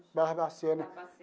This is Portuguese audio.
Barbacena. Barbacena.